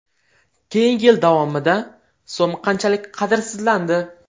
Keyingi yil davomida so‘m qanchalik qadrsizlandi?